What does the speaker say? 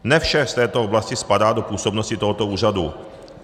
Ne vše z této oblasti spadá do působnosti tohoto úřadu.